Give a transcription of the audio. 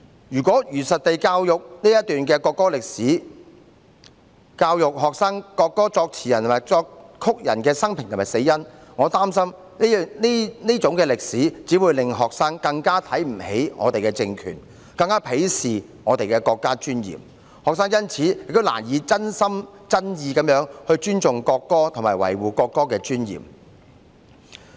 如果如實地教育這段國歌歷史，教育學生國歌作詞人和作曲人的生平和死因，我擔心這段歷史只會讓學生更看不起我們的政權，更鄙視我們的國家尊嚴，學生亦因此難以真心真意尊重國歌，維護國歌的尊嚴。